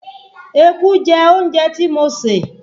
Eku jẹ oúnjẹ tí mo sè